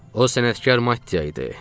O sənətkar Maddiya idi.